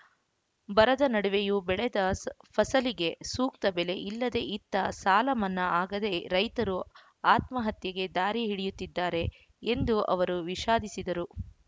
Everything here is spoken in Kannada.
ಬರದ ನಡುವೆಯೂ ಬೆಳೆದ ಫಸಲಿಗೆ ಸೂಕ್ತ ಬೆಲೆ ಇಲ್ಲದೆ ಇತ್ತ ಸಾಲ ಮನ್ನಾ ಆಗದೆ ರೈತರು ಆತ್ಮಹತ್ಯೆ ದಾರಿ ಹಿಡಿಯುತ್ತಿದ್ದಾರೆ ಎಂದು ಅವರು ವಿಷಾದಿಸಿದರು